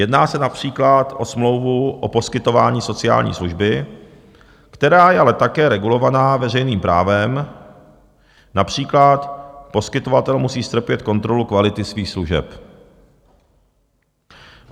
Jedná se například o smlouvu o poskytování sociální služby, která je ale také regulovaná veřejným právem, například poskytovatel musí strpět kontrolu kvality svých služeb.